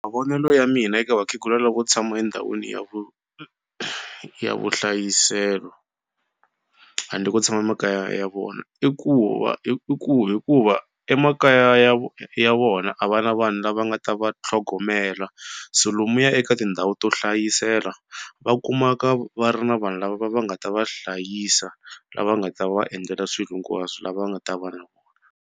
Mavonelo ya mina eka vakhegula lavo tshama endhawini ya vu ya vuhlayiselo handle ko tshama emakaya ya vona i ku va i ku hikuva emakaya ya ya vona a va na vanhu lava nga ta va tlhogomela so lomuya eka tindhawu to hlayisela va kumaka va ri na vanhu lava va va nga ta va hlayisa lava nga ta va endlela swilo hinkwaswo lava nga ta va na vona.